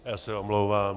Já se omlouvám.